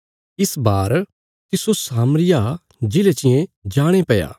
इस बार तिस्सो सामरिया प्रदेशा चींये जाणे पैया